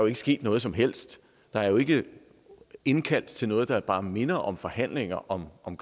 er sket noget som helst der er ikke indkaldt til noget der bare minder om forhandlinger om om